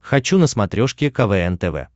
хочу на смотрешке квн тв